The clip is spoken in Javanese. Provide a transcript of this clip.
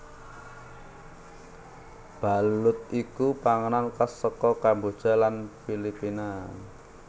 Balut iku panganan khas saka Kamboja lan Filipina